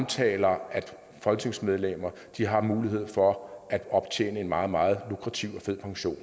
taler om at folketingsmedlemmer har mulighed for at optjene en meget meget lukrativ og fed pension